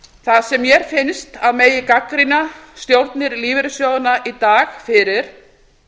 það sem mér finnst að megi gagnrýna stjórnir lífeyrissjóðanna í dag fyrir